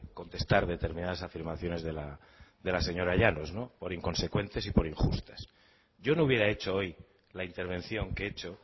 contestar determinadas afirmaciones de la señora llanos por inconsecuentes y por injustas yo no hubiera hecho hoy la intervención que he hecho